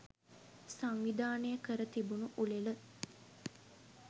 සංවිධානය කර තිබුණු උළෙල